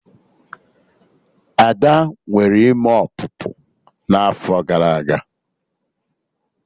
Ada nwere ime ọpụpụ n'afọ gara aga